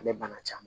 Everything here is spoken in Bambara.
A bɛ bana caman